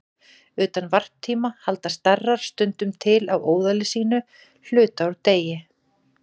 Utan varptíma halda starar stundum til á óðali sínu hluta úr degi.